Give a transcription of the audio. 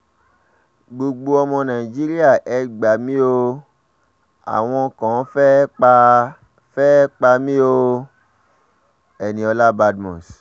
gbogbo ọmọ nàìjíríà ẹ gbà mí o àwọn kan fẹ́ẹ́ pa fẹ́ẹ́ pa mí o-eniola badmus